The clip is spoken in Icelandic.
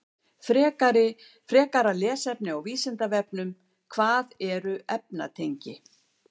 Frekara lesefni á Vísindavefnum: Hvað eru efnatengi?